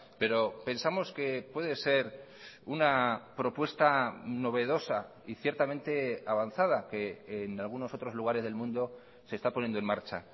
pero pensamos que puede ser una propuesta novedosa y ciertamente avanzada que en algunos otros lugares del mundo se está poniendo en marcha